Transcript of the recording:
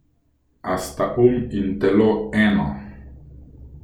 A sta um in telo eno?